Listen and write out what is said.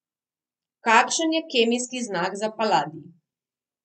Kakšen je kemijski znak za paladij?